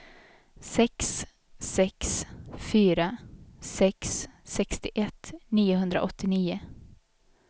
sex sex fyra sex sextioett niohundraåttionio